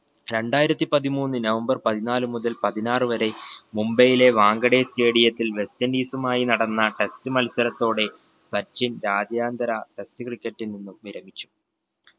രണ്ടായിരത്തിപ്പതിമൂന്ന് നവംബർ പതിനാല് മുതൽ പതിനാറ് വരെ മുംബൈയിലെ വാൻഖടെ stadium ത്തിൽ വെസ്റ്റിൻഡീസുമായി നടന്ന test മത്സരത്തോടെ സച്ചിൻ രാജ്യാന്തര test cricket ൽ നിന്നും വിരമിച്ചു.